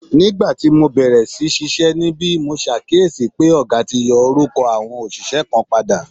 Nígbà tí mo bẹ̀rẹ̀ sí ṣiṣẹ́ níbí, mo ṣàkíyèsí pé ọ̀gá ti yí orúkọ àwọn òṣìṣẹ́ kan padà